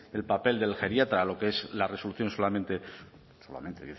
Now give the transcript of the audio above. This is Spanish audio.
el papel del geriatra lo que es la resolución solamente solamente